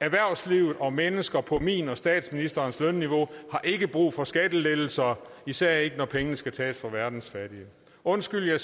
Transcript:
erhvervslivet og mennesker på mit og statsministerens lønniveau har ikke brug for skattelettelser især ikke når pengene skal tages fra verdens fattige undskyld jeg